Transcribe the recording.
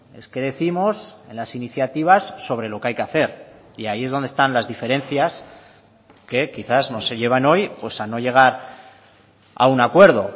es que décimos en las iniciativas sobre lo que hay que hacer y ahí es donde están las diferencias que quizás no se llevan hoy pues a no llegar a un acuerdo